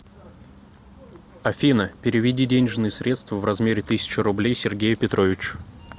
афина переведи денежные средства в размере тысячи рублей сергею петровичу